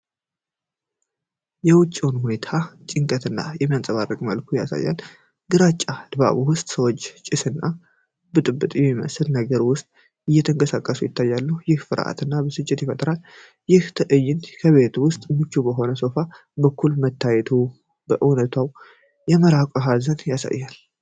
የውጪውን ሁኔታ ጭንቀትን በሚያንጸባርቅ መልኩ ያሳያል። ግራጫማ ድባብ ውስጥ ሰዎች ጭስና ብጥብጥ በሚመስል ነገር ውስጥ ሲንቀሳቀሱ ይታያሉ፤ ይህም ፍርሃት እና ብስጭትን ይፈጥራል። ይህ ትዕይንት በቤት ውስጥ ምቹ በሆነ ሶፋ በኩል መታየቱ ከእውነታው የመራቅን ሀዘን ያሳያል።